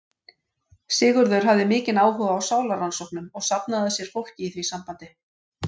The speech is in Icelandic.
Sigurður hafði mikinn áhuga á sálarrannsóknum og safnaði að sér fólki í því sambandi.